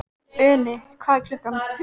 Uni, hvað er klukkan?